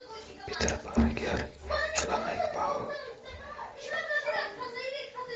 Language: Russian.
питер паркер человек паук